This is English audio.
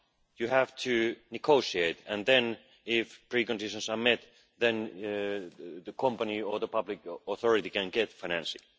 You have to negotiate and then if preconditions are met the company or the public authority can get financing.